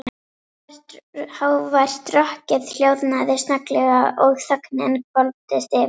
Hávært rokkið hljóðnaði snögglega og þögnin hvolfdist yfir.